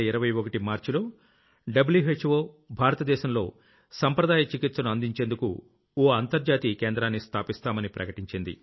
2021 March లో వ్హో భారతదేశంలో సంప్రదాయ చికిత్సను అందించేందుకు ఓ గ్లోబల్ Centreని స్థాపిస్తామని ప్రకటించింది